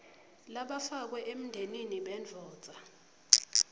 labafakwe emndenini bendvodza